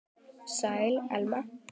Sæl, Elma.